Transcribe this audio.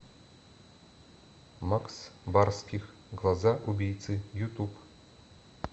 макс барских глаза убийцы ютуб